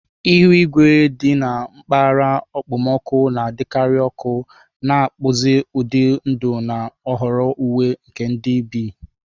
Ihu igwe dị na mpaghara okpomọkụ na-adịkarị ọkụ, na-akpụzi ụdị ndụ na nhọrọ uwe nke ndị bi.